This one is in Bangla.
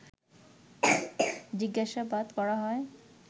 জিজ্ঞাসাবাদ করা হয়